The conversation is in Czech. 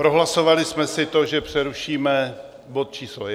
Prohlasovali jsme si to, že přerušíme bod číslo 1. OK.